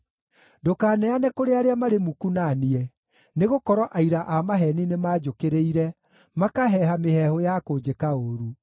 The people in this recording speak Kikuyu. Ndũkaneane kũrĩ arĩa marĩ muku na niĩ, nĩgũkorwo aira a maheeni nĩmanjũkĩrĩire, makaheeha mĩheehũ ya kũnjĩka ũũru.